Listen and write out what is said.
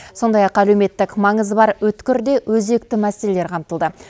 сондай ақ әлеуметтік маңызы бар өткір де өзекті мәселелер қамтылды